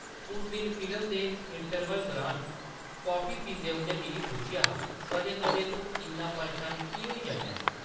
उस दिन फिल्म दे इंटरवल दरान कॉफी पींदे उʼन्नै मिगी पुच्छेआ हा, कदें कदें तूं इन्ना परेशान की होई जन्ना ऐं?